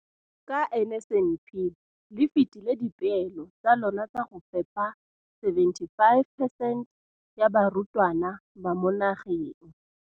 Ka NSNP le fetile dipeelo tsa lona tsa go fepa masome a supa le botlhano a diperesente ya barutwana ba mo nageng.